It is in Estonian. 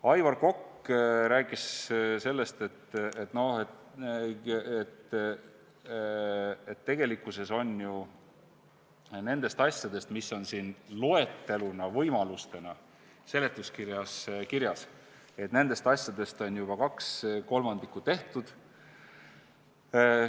Aivar Kokk rääkis sellest, et tegelikkuses on ju nendest asjadest, mis on seletuskirja loetelus võimalustena kirjas, juba kaks kolmandikku tehtud.